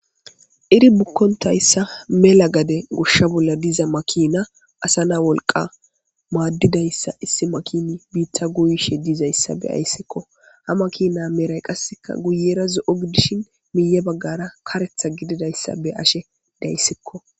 iri bukkontayssa mela gade goshsha bolla diza makina asa na wolqa maaddidayssa issi makini biitta guuyishe diizayssa be ayssikko ha makina meray qasseka guyera zo7o gidishin miye baggara karetha gididayssa be ashe dayssikko